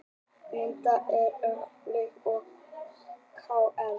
Myndasyrpa úr leik Breiðabliks og KR